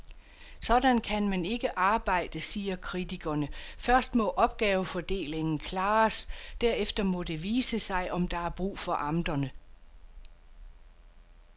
Sådan kan man ikke arbejde, siger kritikerne, først må opgavefordelingen klares, derefter må det vise sig, om der er brug for amterne.